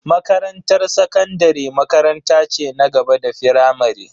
Makarantar sakandare makaranta ce na gaba da firamare.